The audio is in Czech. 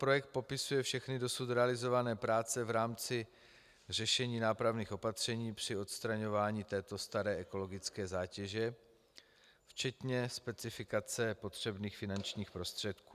Projekt popisuje všechny dosud zrealizované práce v rámci řešení nápravných opatření při odstraňování této staré ekologické zátěže, včetně specifikace potřebných finančních prostředků.